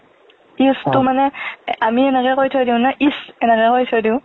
if তো মানে ~এ আমি এনেকে কৈ থৈ দিও না, if এনেকে কৈ থৈ দিও।